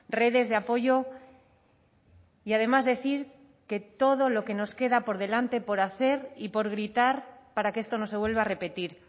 redes de apoyo y además decir que todo lo que nos queda por delante por hacer y por gritar para que esto no se vuelva a repetir